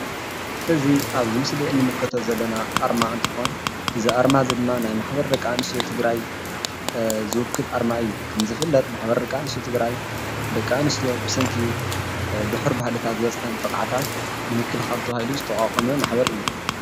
እዚ ኣብዚ ምስሊ እንምልከቶ ዘለና ኣርማ እንትኾን እዚ ኣርማ እዚ ድማ ናይ ማሕበር ደቂ ኣንስትዮ ትግራይ ዝውክል ኣርማ እዩ። ከምዝፍለጥ ማሕበር ደቂ ኣንስትዮ ትግራይ ደቂ ኣንስትዮ ብሰንኪ ዱሑር ባህልታት ዝበፅሐን ጥቕዓታት ንምክልኻል ተባሂሉ ዝተቛቘመ ማሕበር እዩ።